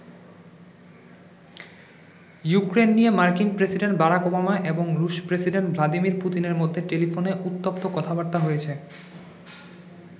Ukraine নিয়ে মার্কিন president Barack Obama এবং রুশ প্রেসিডেন্ট ভ্লাদিমির পুতিনের মধ্যে টেলিফোনে উত্তপ্ত কথাবার্তা হয়েছে।